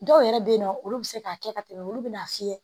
Dɔw yɛrɛ be yen nɔ olu bi se k'a kɛ ka tɛmɛ olu bina fiyɛ